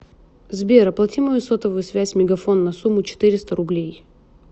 сбер оплати мою сотовую связь мегафон на сумму четыреста рублей